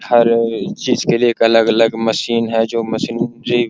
हर चीज के लिए एक अलग-अलग मशीन है जो मशीन ज --